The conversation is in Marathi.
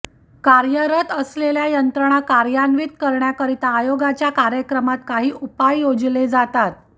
कार्यरत असलेल्या यंत्रणा कार्यान्वित करण्याकरता आयोगाच्या कार्यक्रमात काही उपाय योजले जातात